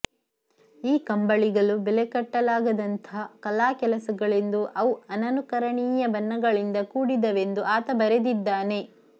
ಈ ಕಂಬಳಿಗಳು ಬೆಲೆಕಟ್ಟಲಾಗದಂಥ ಕಲಾಕೆಲಸಗಳೆಂದೂ ಅವು ಅನನುಕರಣೀಯ ಬಣ್ಣಗಳಿಂದ ಕೂಡಿದವೆಂದೂ ಆತ ಬರೆದಿದ್ದಾನೆ